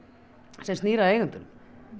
sem snýr að eigendunum